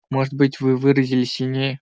может быть вы выразились сильнее